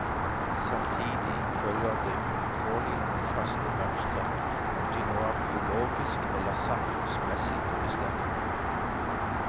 Samtidig følger det uvilkårlig noen faste mønstre, om de nå er biologisk eller samfunnsmessig bestemt.